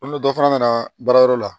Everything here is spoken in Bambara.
Komi dɔ fana nana baarayɔrɔ la